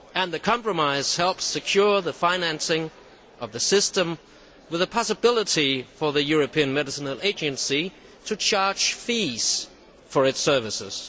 The compromise helps secure the financing of the system, with a possibility for the European Medicinal Agency to charge fees for its services.